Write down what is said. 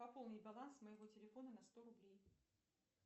пополни баланс моего телефона на сто рублей